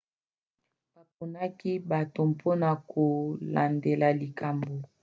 baponaki bato mpona kolandela likambo